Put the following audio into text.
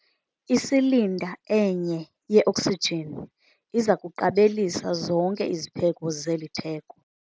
Isilinda enye yeoksijini iza kuqabelisa zonke izipheko zeli theko.